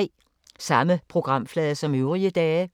Samme programflade som øvrige dage